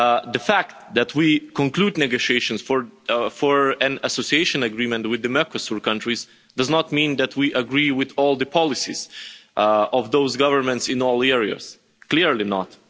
The fact that we conclude negotiations for an association agreement with the Mercosur countries does not mean that we agree with all the policies of those governments in all areas, clearly not.